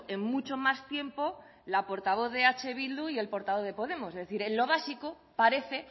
en mucho más tiempo la portavoz de eh bildu y el portavoz de podemos es decir en lo básico parece